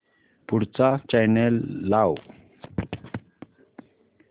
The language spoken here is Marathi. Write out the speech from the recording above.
पुढचा चॅनल लाव